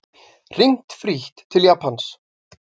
Hringt frítt til Japans